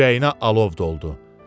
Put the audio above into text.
Ürəyinə alov doldu.